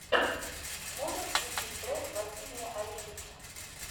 можешь включить трек василия оленича